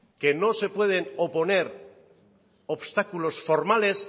que no se pueden oponer obstáculos formales